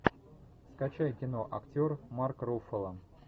скачай кино актер марк руффало